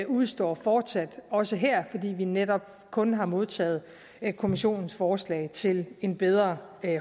udestår fortsat også her fordi vi netop kun har modtaget kommissionens forslag til en bedre